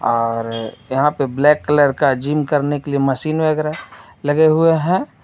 और यहां पे ब्लैक कलर का जिम करने के लिए मशीन वगैरा लगे हुए हैं.